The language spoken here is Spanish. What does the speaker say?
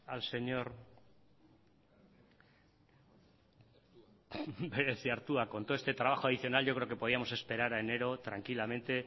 al señor bereziartua con todo este trabajo adicional yo creo que podíamos esperar a enero tranquilamente